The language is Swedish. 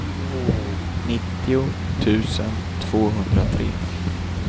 nittio tusen tvåhundratre